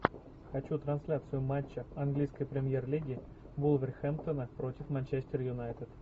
хочу трансляцию матча английской премьер лиги вулверхэмптона против манчестер юнайтед